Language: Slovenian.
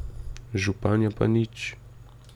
Županja pa nič ...